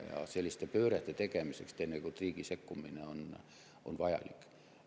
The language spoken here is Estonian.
Ja selliste pöörete tegemiseks on riigi sekkumine teinekord vajalik.